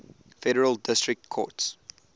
federal district courts